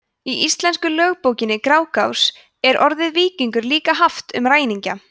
í íslensku lögbókinni grágás er orðið víkingur líka haft um ræningja